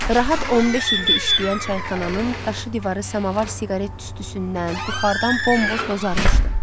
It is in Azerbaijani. Rahat 15 ildir işləyən çayxananın daşı divarı samavar siqaret tüstüsündən, buxardan bomboz bozarmışdı.